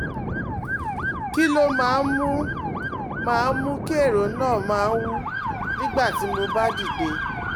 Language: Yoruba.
Kí ló máa ń mú máa ń mú kí ẹ̀rọ náà máa ń wú nígbà tí mo bá dìde?